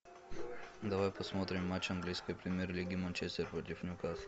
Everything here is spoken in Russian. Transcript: давай посмотрим матч английской премьер лиги манчестер против ньюкасл